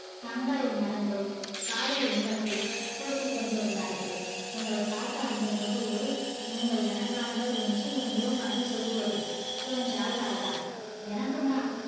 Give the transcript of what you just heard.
தங்களை மறந்து காதல் இன்பத்தில் பேசிக் கொண்டிருந்தார்கள் உங்களை பார்த்த அந்த நொடியே நீங்கள் எனக்கு ஆனவர் என்று என் உள் மனது சொல்லியது என்றாள் ராதா எனக்கும் தான்